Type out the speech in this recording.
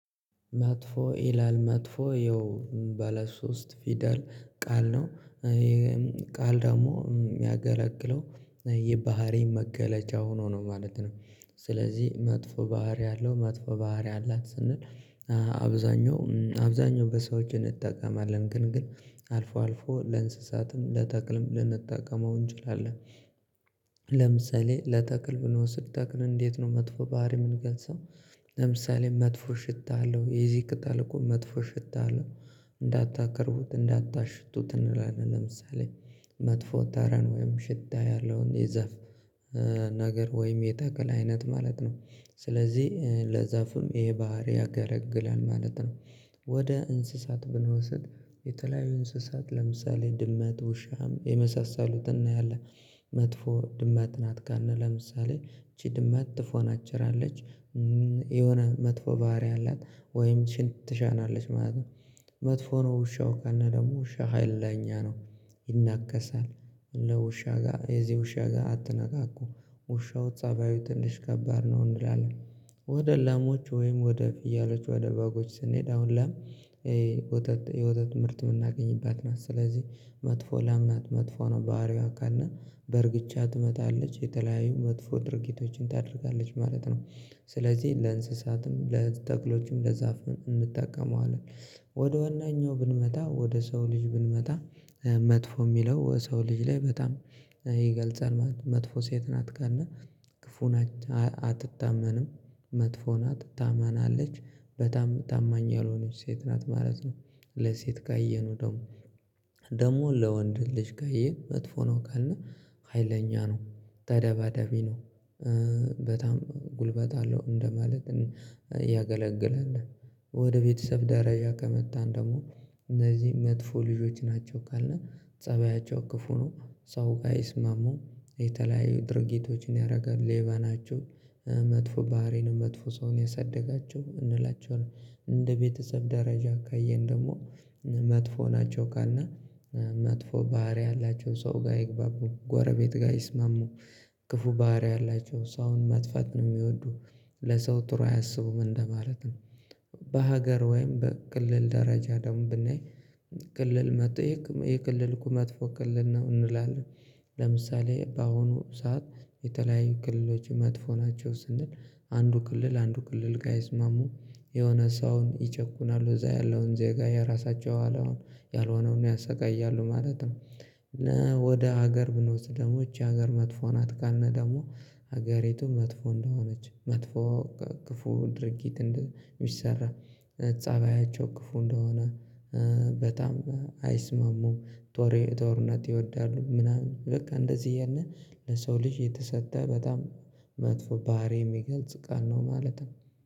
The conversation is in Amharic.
መጥፎ ይላል መጥፎ ይኸው ባለ ሶስት ፊደል ቃል ነው ቃል የሚያገለግለው የባህሪ መገለጫ ሆኖ ነው ማለት ነው። ስለዚህ መጥፎ ባህሪ አለው መጥፎ ባህሪ አላት ስንል አብዛኛው አብዛኛው በሰዎች እንጠቀማለን ግን ግን አልፎ አልፎ ለእንስሳትም ለተክልም ልንጠቀመው እንችላለን። ለምሳሌ ለተክል ብንወስድ ተክል እንዴት ነው መጥፎ ባህሪ ምንገልጸው? ለምሳሌ መጥፎ ሽታ አለው የዚህ ቅጠል እኮ መጥፎ ሽታ አለው እንዳታከርሁት እንዳታሽቱት እንላለን። ለምሳሌ መጥፎ ታረን ወይም ሽታ ያለውን የዛፍ ነገር ወይም የታከለ አይነት ማለት ነው። ስለዚህ ለዛፉም ይሄ ባህሪ ያገረግላል ማለት ነው። ወደ እንስሳት ብንወስድ የተለያዩ እንስሳት ለምሳሌ ድመት ውሻም የመሳሰሉትን እናያለን። መጥፎ ድመት ናት ጋር ነህ ለምሳሌ ይች ድመት ትፎናጭራለች። የሆነ መጥፎ ባህሪ አላት ወይም ሽንት ትሻናለች ማለት ነው። መጥፎ ነው ውሻው ካለ ደግሞ ውሻ ሀይል ላይ እኛ ነው ይናከሳል። ለውሻ ጋር የዚህ ውሻ ጋር አትነካኩ ውሻው ፀባዩ ትንሽ ከባድ ነው እንላለን። ላሞች ወይም ወደ ፍየሎች ወደ በጎች ስንሄድ አሁን ላም የውተት የውተት ምርት የምናገኝባት ናት ስለዚህ መጥፎ ላም ናት መጥፎ ነው ባህሪዋ ካልን በእርግጫ ትመታለች የተለያዩ መጥፎ ድርጊቶችን ታደርጋለች ማለት ነው። ስለዚህ ለእንስሳትም ለጠቅሎችም ለዛፍ እንጠቀመዋለን። ወደ ዋናኛው ብንመጣ ወደ ሰው ልጅ ብንመጣ መጥፎ የሚለው ወደ ሰው ልጅ ላይ በጣም ይገልጻል መጥፎ ሴት ናት ካልን። ክፉና አትታመንም መጥፎን ናት ታመናለች በጣም ታማኝ ያልሆነች ሴት ናት ማለት ነው። ለሴት ካየነው ደግሞ ለወንድ ልጅ ጋየን መጥፎ ነው ካልነው ሀይለኛ ነው ተደባዳቢ ነው። በጣም ጉልበት አለው እንደማለት ነው ያገለግላል። ወደ ቤተሰብ ደረጃ ከመጣን ደግሞ እነዚህ መጥፎ ልጆች ናቸው ካልነህ ፀባያቸው ክፉ ነው። ሰው ጋር አይስማሙ የተለያዩ ድርጊቶችን ያደርጋል ሌባ ናቸው መጥፎ ባህሪን መጥፎ ሰውን ያሳድጋቸው እንላቸዋለን። እንደ ቤተሰብ ደረጃ ካየን ደግሞ መጥፎ ናቸው ካልን መጥፎ ባህሪ ያላቸው ሰው ጋር አይግባቡም ጎረቤት ጋር አይስማሙ። ክፉ ባህሪ አላቸው ሰው አሁን መጥፋት ነው የሚወዱ ለሰው ጥሩ አያስቡም እንደማለት ነው። በሀገር ወይም በክልል ደረጃ ደግሞ ብናይ ክልል መጥቶ የክልል ይሄ መጥፎ ክልል ነው እንላለን። ለምሳሌ በአሁኑ ሰዓት የተለያዩ ክልሎች መጥፎ ናቸው ስንል አንዱ ክልል አንዱ ክልል ጋ አይስማሙም። የሆነ ሰውን ይጨቁናሉ እዛ ያለውን ዜጋ የራሳቸው ያልሆነውን ያሰቃያሉ ማለት ነው። እና ወደ ሀገር ብንወስድ ደግሞ የሀገር መጥፎ ናት ካልነ ደግሞ ሀገሬቱ መጥፎ እንደሆነች መጥፎ ክፉ ድርጊት እንደሚሰራ ፃባያቸው ክፉ እንደሆነ በጣም አይስማሙም። ጦርነት ይወዳሉ ምናምን በቃ እንደዚህ እያለ ለሰው ልጅ የተሰጠ በጣም መጥፎ ባህሪ የሚገልጽ ቃል ነው ማለት ነው